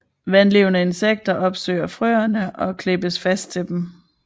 Vandlevende insekter opsøger frøene og klæbes fast til dem